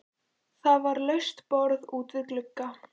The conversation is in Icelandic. Það var laust borð út við glugga.